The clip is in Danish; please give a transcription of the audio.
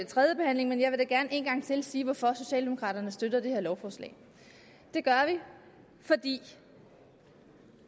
tredje behandling men jeg vil da gerne en gang til sige hvorfor socialdemokraterne støtter det her lovforslag det gør vi fordi